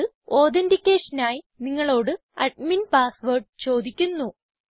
ഇത് authenticationനായി നിങ്ങളോട് അഡ്മിൻ പാസ്സ് വേർഡ് ചോദിക്കുന്നു